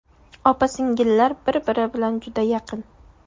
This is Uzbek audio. Opa-singillar bir-biri bilan juda yaqin.